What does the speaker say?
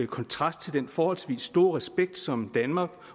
kontrast til den forholdsvis store respekt som danmark